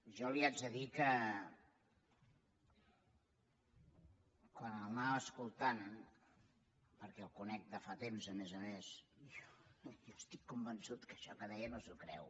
jo li hagi de dir que quan l’anava escoltant perquè el conec de fa temps a més a més estic convençut que això que deia no s’ho creu